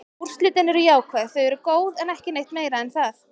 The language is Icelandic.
Úrslitin eru jákvæð, þau eru góð, en ekki neitt meira en það.